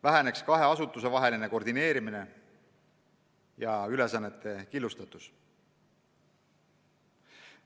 Väheneks kahe asutuse vaheline koordineerimine ja ülesannete killustatus.